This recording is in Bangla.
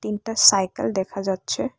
একটা সাইকেল দেখা যাচ্ছে।